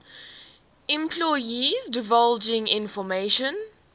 employees divulging information